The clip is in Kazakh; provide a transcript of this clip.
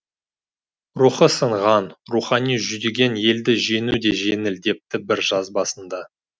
рухы сынған рухани жүдеген елді жеңу де жеңіл депті бір жазбасында